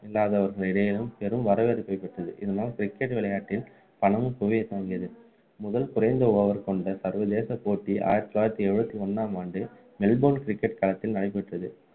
இல்லாதவர்கள் இடையேயும் பெரும் வரவேற்பை பெற்றது இதனால் cricket விளையாட்டில் பணமும் குவியத்துவங்கியது முதல் குறைந்த over கொண்ட சர்வதேச போட்டி ஆயிரத்து தொள்ளாயிரத்து எழுபத்தி ஒண்ணாம் ஆண்டு மெல்போர்ன் cricket தளத்தில் நடைபெற்றது